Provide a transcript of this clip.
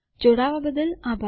જોડાવા બદ્દલ આભાર